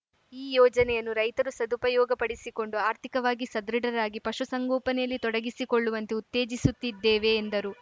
ಈ ಯೋಜನೆಯನ್ನು ರೈತರು ಸದುಪಯೋಗಪಡಿಸಿಕೊಂಡು ಆರ್ಥಿಕವಾಗಿ ಸದೃಢರಾಗಿ ಪಶುಸಂಗೋಪನೆಯಲ್ಲಿ ತೊಡಗಿಸಿಕೊಳ್ಳುವಂತೆ ಉತ್ತೇಜಿಸುತ್ತಿದ್ದೇವೆ ಎಂದರು